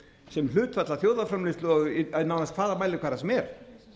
sem hlutfall af þjóðarframleiðslu á nánast hvaða mælikvarða sem er